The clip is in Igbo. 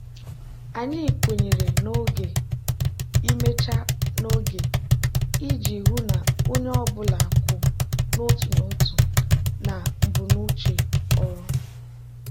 anyị kwenyere n'oge imecha n'oge iji hụ na onye ọ bụla kwụ n'otu n'otu na ebumnuche ọrụ.